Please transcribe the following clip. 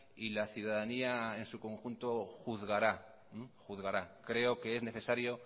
y la ciudadanía en su conjunto juzgará creo que es necesario